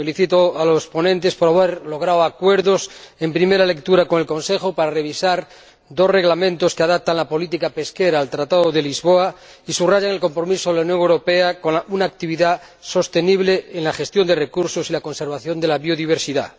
Felicito a los ponentes por haber logrado acuerdos en primera lectura con el Consejo para revisar dos reglamentos que adaptan la política pesquera al Tratado de Lisboa y subrayan el compromiso de la Unión Europea con una actividad sostenible en la gestión de recursos y la conservación de la biodiversidad.